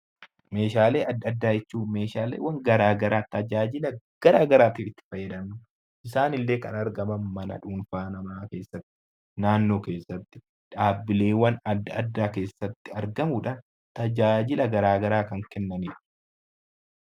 Meeshaalee addaa addaa jechuun Meeshaalee garaagaraa kan tajaajila garaagaraatiif itti fayyadamnu. Isaan illee kan argaman mana dhuunfaa namaa , naannoo keessatti, dhaabbilee keessatti argamuudhaan tajaajila garaagaraa kan kennanidha.